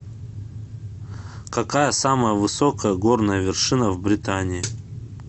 какая самая высокая горная вершина в британии